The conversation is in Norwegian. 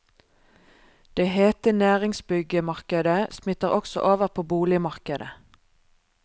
Det hete næringsbyggemarkedet smitter også over på boligmarkedet.